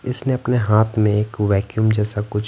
इसने अपने हाथ में एक वैक्यूम जैसा कुछ--